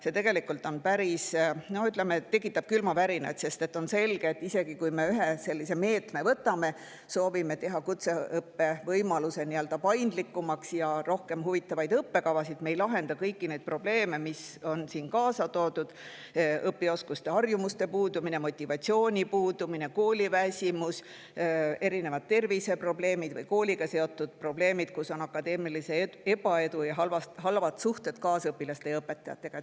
See tegelikult tekitab, ütleme, külmavärinaid, sest on selge, et isegi kui me ühe meetme võtame, teeme kutseõppe paindlikumaks, võimaldame rohkem huvitavaid õppekavasid, siis me ei lahenda kõiki probleeme, mis on siin toodud: õpioskuste ja ‑harjumuse puudumine, motivatsiooni puudumine, kooliväsimus, terviseprobleemid või kooliga seotud probleemid, akadeemiline ebaedu ja halvad suhted kaasõpilaste ja õpetajatega.